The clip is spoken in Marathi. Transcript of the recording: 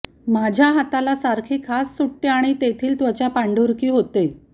माझ्या हाताला सारखी खाज सुटते आणि तेथील त्वचा पांढुरकी होते